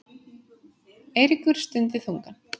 Eiríkur stundi þungan.